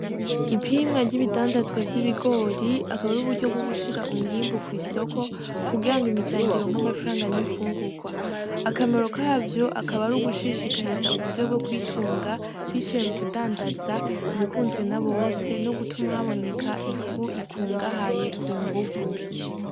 Ipimwa ryibi dandazwa vy'ibigori akaba ari uburyo bwo gushira umwimbu kwi soko kugirango imiryango ironke amafaranga n'infungurwa, akamaro kavyo akaba ari ugushishikariza uburyo bwo kwitunga biciye mu kudandaza ibikunzwe n'abose nogutuma haboneka ifu ikungahaye kunguvu.